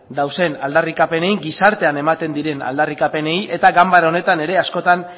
dauden aldarrikapenei gizartean ematen diren aldarrikapenei eta ganbara honetan ere askotan